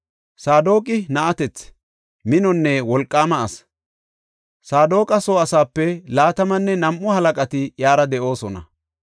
Saadoqi na7atethi, minonne wolqaama asi; Saadoqa soo asaape laatamanne nam7u halaqati iyara de7oosona.